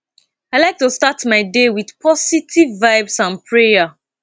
i like to start my day with positive vibes and prayer